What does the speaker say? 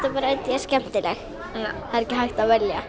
skemmtileg ekki hægt að velja